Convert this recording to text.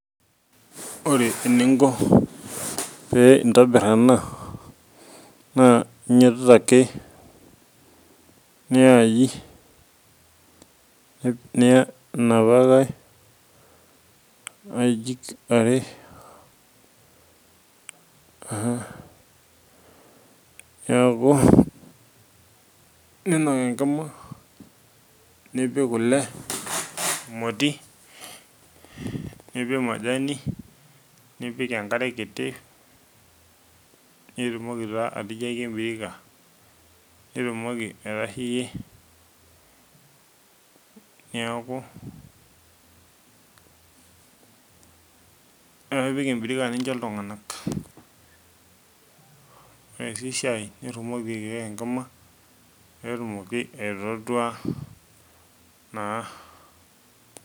Ore eningo pee intobir ena naa inyiototo ake ninok enkima nipik kule emoti nipik majani nipik enkare kiti nitumoki taa atijiaki embirika nitumoki aitasheyie neeku ore pee ipik embirika nincho iltunganak ore sii shai nitumoki enkima pee etumoki aitootua naa.